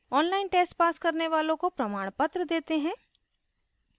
online test pass करने वालों को प्रमाणपत्र देते हैं